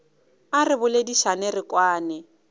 a re boledišane re kwane